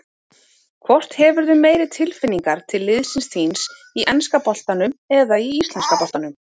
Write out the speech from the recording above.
Hvort hefurðu meiri tilfinningar til liðsins þíns í enska boltanum eða í íslenska boltanum?